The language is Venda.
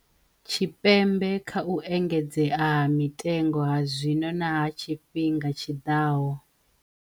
Tshipembe kha u engedzea ha mitengo ha zwino na ha tshifhiga tshi ḓaho.